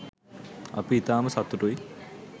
අපි ඉතාම සතුටුයි